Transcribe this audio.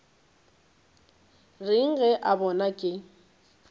reng ge a bona ke